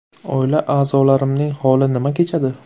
Oila a’zolarimning holi nima kechadi?